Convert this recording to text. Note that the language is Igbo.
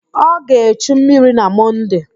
Ọ ga-echu mmiri na Mọnde.